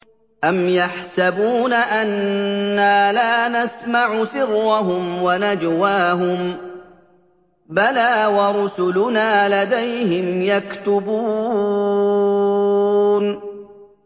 أَمْ يَحْسَبُونَ أَنَّا لَا نَسْمَعُ سِرَّهُمْ وَنَجْوَاهُم ۚ بَلَىٰ وَرُسُلُنَا لَدَيْهِمْ يَكْتُبُونَ